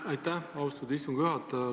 Aitäh, austatud istungi juhataja!